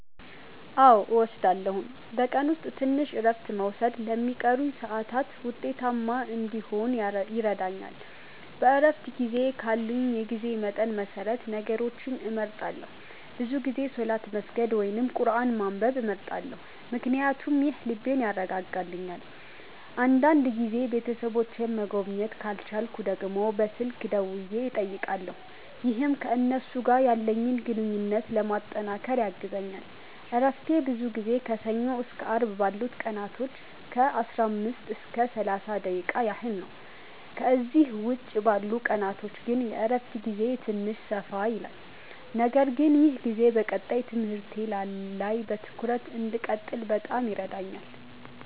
አዎ እወስዳለሁኝ፤ በቀን ውስጥ ትንሽ እረፍት መውሰድ ለሚቀሩኝ ሰዓታት ውጤታማ እንዲሆን ይረዳኛል። በእረፍት ጊዜዬ ካለኝ የጊዜ መጠን መሰረት ነገሮችን እመርጣለሁ፤ ብዙ ጊዜ ሰላት መስገድ ወይም ቁርአን ማንበብ እመርጣለሁ ምክንያቱም ይህ ልቤን ያረጋጋልኛል። አንዳንድ ጊዜም ቤተሰቦቼን መጎብኘት ካልቻልኩ ደግሞ በስልክ ደውዬ እጠይቃለሁ፣ ይህም ከእነሱ ጋር ያለኝን ግንኙነት ለማጠናከር ያግዘኛል። እረፍቴ ብዙ ጊዜ ከሰኞ እስከ አርብ ባሉት ቀናቶች ከ15 እስከ 30 ደቂቃ ያህል ነው፤ ከእነዚህ ውጭ ባሉት ቀናቶች ግን የእረፍት ጊዜዬ ትንሽ ሰፋ ይላል። ነገር ግን ይህ ጊዜ በቀጣይ ትምህርቴ ላይ በትኩረት እንድቀጥል በጣም ይረዳኛል።